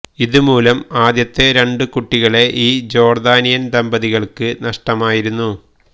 ഇതുമൂലം ആദ്യത്തെ രണ്ട് കുട്ടികളെ ഈ ജോർദാനിയൻ ദമ്പതികൾക്ക് നഷ്ടമായിരുന്നു